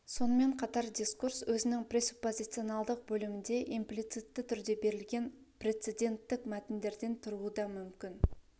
сонымен қатар дискурс өзінің пресуппозионалдық бөлімінде имплицитті түрде берілген прецеденттік мәтіндерден тұруы да мүмкін